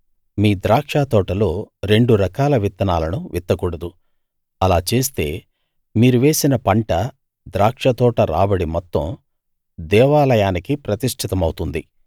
మీ ద్రాక్షతోటలో రెండు రకాల విత్తనాలను విత్తకూడదు అలా చేస్తే మీరు వేసిన పంట ద్రాక్షతోట రాబడి మొత్తం దేవాలయానికి ప్రతిష్టితమవుతుంది